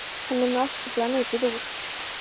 Hann er nú afskaplega mikið úr